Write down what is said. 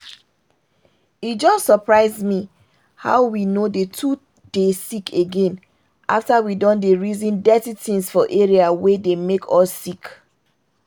e just surprise me how we no dey too dey sick again after we don dey reason dirty things for area wey dey make us sick.